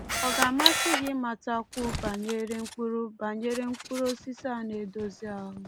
Ọ ga-amasị gị ịmatakwu banyere mkpụrụ banyere mkpụrụ osisi a na-edozi ahụ?